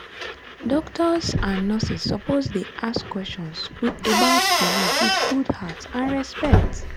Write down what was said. doctors and nurses suppose dey ask questions about belief with good heart and respect.